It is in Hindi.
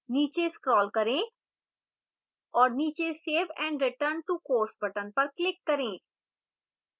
नीचे scroll करें और नीचे save and return to course button पर click करें